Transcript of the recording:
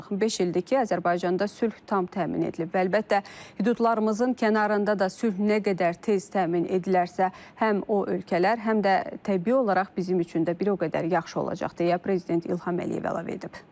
Beş ildir ki, Azərbaycanda sülh tam təmin edilib və əlbəttə, hüdudlarımızın kənarında da sülh nə qədər tez təmin edilərsə, həm o ölkələr, həm də təbii olaraq bizim üçün də bir o qədər yaxşı olacaq deyə Prezident İlham Əliyev əlavə edib.